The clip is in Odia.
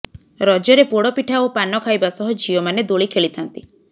ରଜରେ ପୋଡ଼ପିଠା ଓ ପାନ ଖାଇବା ସହ ଝିଅମାନେ ଦୋଳି ଖେଳିଥାନ୍ତି